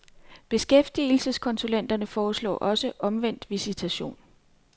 Beskæftigelseskonsulenterne foreslår også omvendt visitation.